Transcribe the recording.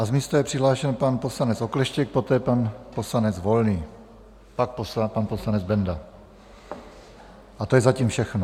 Z místa je přihlášen pan poslanec Okleštěk, poté pan poslanec Volný, pak pan poslanec Benda, a to je zatím všechno.